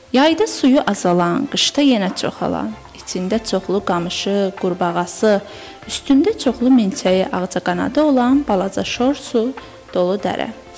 Yayda suyu azalan, qışda yenə çoxalan, içində çoxlu qamışı, qurbağası, üstündə çoxlu milçəyi, ağcaqanadı olan balaca şor su dolu dərə.